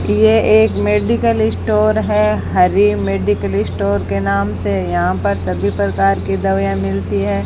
यह एक medical store है हरि मेडिकल स्टोर के नाम से यहां पर सभी प्रकार की दवाइयां मिलती हैं।